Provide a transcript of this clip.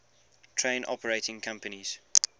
train operating companies